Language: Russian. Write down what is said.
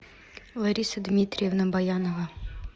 лариса дмитриевна баянова